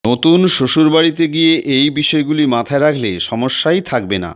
নতুন শ্বশুরবাড়িতে গিয়ে এই বিষয়গুলি মাথায় রাখলে সমস্যাই থাকবে না